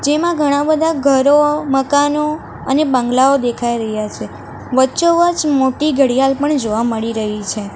તેમાં ઘણા બધા ઘરો મકાનો અને બંગલાઓ દેખાઈ રહ્યા છે વચ્ચો વચ મોટી ઘડિયાળ પણ જોવા મળી રહી છે.